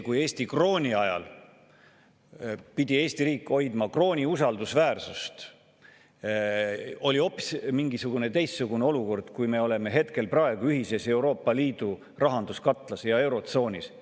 Kui Eesti krooni ajal pidi Eesti riik hoidma krooni usaldusväärsust, see oli hoopis teistsugune olukord kui praegu, kui me oleme ühises Euroopa Liidu rahanduskatlas ja eurotsoonis.